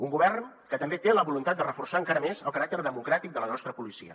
un govern que també té la voluntat de reforçar encara més el caràcter democràtic de la nostra policia